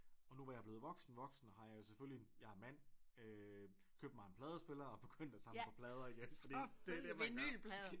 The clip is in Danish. Og nu hvor jeg er blevet voksen voksen har jeg selvfølgelig jeg er mand øh købt mig en pladespiller og er begyndt at samle på plader igen fordi det er det man gør